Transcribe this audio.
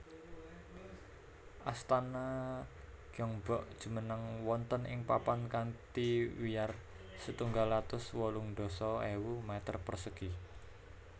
Astana Gyeongbok jumeneng wonten ing papan kanthi wiyar setunggal atus wolung dasa ewu meter persegi